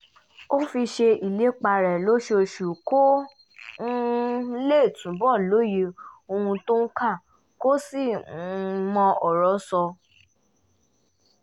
ó fi ṣe ìlépa rẹ̀ lọ́sọ̀ọ̀sẹ̀ kó um lè túbọ̀ lóye ohun tó ń kà kó sì um mọ ọ̀rọ̀ sọ